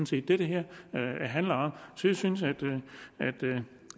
set det det her handler om så jeg synes